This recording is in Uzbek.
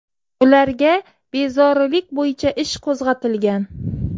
Ularga bezorilik bo‘yicha ish qo‘zg‘atilgan.